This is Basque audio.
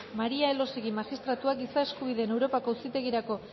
maría elósegui magistratua giza eskubideen europako auzitegirako